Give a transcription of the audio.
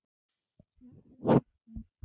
Smelli aftur.